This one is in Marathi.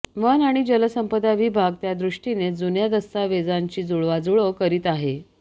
वन आणि जलसंपदा विभाग त्यादृष्टीने जुन्या दस्तावेजांची जुळवाजुळव करीत आहे